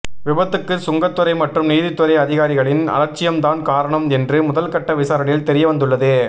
விபத்துக்கு சுங்கத்துறை மற்றும் நீதித்துறை அதிகாரிகளின் அலட்சியம் தான் காரணம் என்று முதல்கட்ட விசாரணையில் தெரியவந்துள்ளது